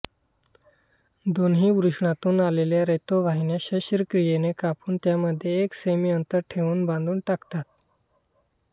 दोन्ही वृषणातून आलेल्या रेतोवाहिन्या शस्त्रक्रियेने कापून त्यामध्ये एक सेमी अंतर ठेवून बांधून टाकतात